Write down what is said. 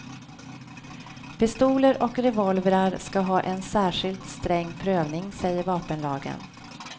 Pistoler och revolvrar ska ha en särskilt sträng prövning säger vapenlagen.